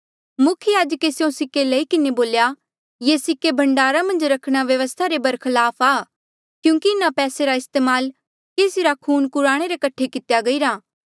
मुख्य याजके स्यों सिक्के लई किन्हें बोल्या ये सिक्के भण्डारा मन्झ रखणा व्यवस्था रे बरखलाफ आ क्यूंकि इन्हा पैसे रा इस्तेमाल केसी रा खून कुराणे रे कठे कितेया गईरा